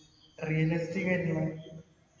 realistic ആയിരിക്കണം